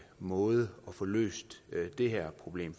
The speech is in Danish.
måde at få løst det her problem